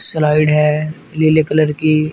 Slide है नीले colour की।